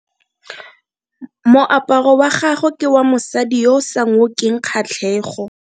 Moaparo wa gagwe ke wa mosadi yo o sa ngokeng kgatlhego.